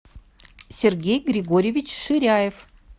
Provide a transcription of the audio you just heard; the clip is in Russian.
сергей григорьевич ширяев